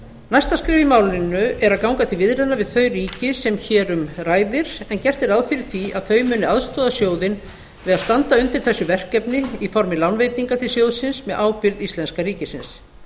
næsta skref í málinu er að ganga til viðræðna við þau ríki sem hér um ræðir en gert er ráð fyrir því að þau muni aðstoða sjóðinn við að standa undir þessu verkefni í formi lánveitinga til sjóðsins með ábyrgð íslenska ríkisins